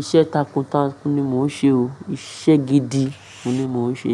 Iṣẹ́ takuntakun ni mo ń ṣe o. Iṣẹ́ gidi ni mo ń ṣe.